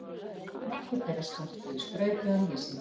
Nokkur þeirra skörtuðu skrautlegum lýsingum.